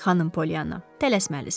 Xanım Polyanna, tələsməlisiniz.